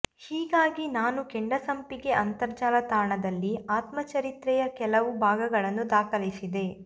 ಹೀಗಾಗಿ ನಾನು ಕೆಂಡಸಂಪಿಗೆ ಅಂತರ್ಜಾಲ ತಾಣದಲ್ಲಿ ಆತ್ಮಚರಿತ್ರೆಯ ಕೆಲವು ಭಾಗಗಳನ್ನು ದಾಖಲಿಸಿದೆ